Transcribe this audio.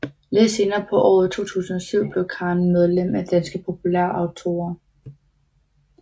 Lidt senere på året 2007 blev Karin medlem af Danske Populærautorer